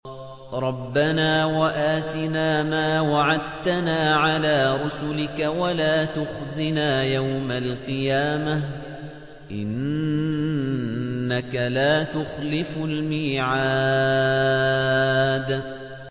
رَبَّنَا وَآتِنَا مَا وَعَدتَّنَا عَلَىٰ رُسُلِكَ وَلَا تُخْزِنَا يَوْمَ الْقِيَامَةِ ۗ إِنَّكَ لَا تُخْلِفُ الْمِيعَادَ